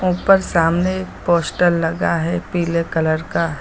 उपर सामने पोस्टर लगा है पीले कलर का।